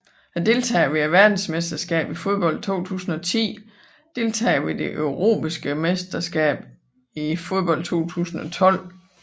Deltagere ved verdensmesterskabet i fodbold 2010 Deltagere ved det europæiske mesterskab i fodbold 2012